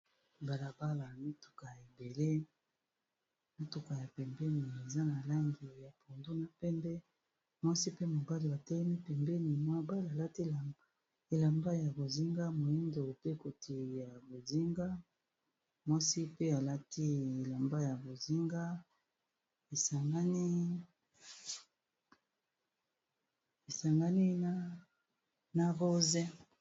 balabala ya mituka na pembeni eza mutuka ya langi ya pondu na pembeni mwasi atelemi na mobali balati bilamba ya bozinga, moindo pe koti ya bozinga mwasi pe alati Elamba esangani na langi ya rose.